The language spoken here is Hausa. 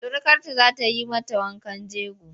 Surukarta za ta yi mata wankan jego.